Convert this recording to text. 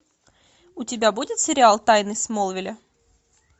у тебя будет сериал тайны смолвиля